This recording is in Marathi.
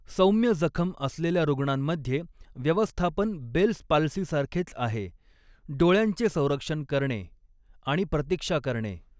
सौम्य जखम असलेल्या रुग्णांमध्ये, व्यवस्थापन बेल्स पाल्सीसारखेच आहे, डोळ्यांचे संरक्षण करणे आणि प्रतीक्षा करणे.